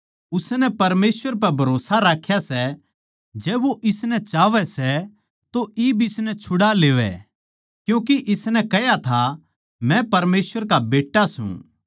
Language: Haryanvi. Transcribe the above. उसनै परमेसवर पै भरोस्सा राख्या सै जै वो इसनै चाहवै सै तो इब इसनै छुड़ा लेवै क्यूँके इसनै कह्या था मै परमेसवर का बेट्टा सूं